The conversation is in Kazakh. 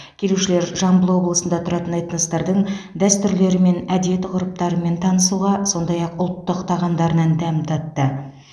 келушілер жамбыл облысында тұратын этностардың дәстүрлері мен әдет ғұрыптарымен танысуға сондай ақ ұлттық тағамдарынан дәм татты